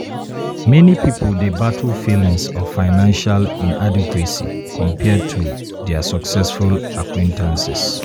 meni pipul dey battle feelings of financial inadequacy compared to dia successful acquaintances.